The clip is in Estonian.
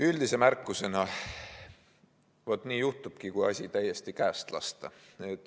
Üldise märkusena: vaat nii juhtubki, kui asi täiesti käest lasta.